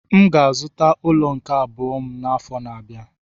M ga-azụta ụlọ nke abụọ m n'afọ na-abịa.